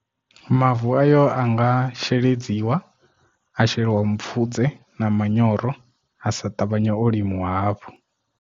Mavu ayo anga sheledziwa a sheliwa mipfudze na manyoro a sa ṱavhanye o limiwa hafhu.